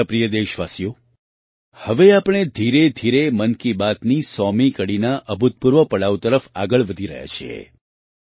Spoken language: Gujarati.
મારા પ્રિય દેશવાસીઓ હવે આપણે ધીરેધીરે મન કી બાતના 100મા હપ્તાના અભૂતપૂર્વ પડાવ તરફ આગળ વધી રહ્યા છીએ